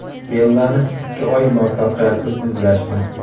Bellani ikki oy muvaffaqiyatsiz izlashdi.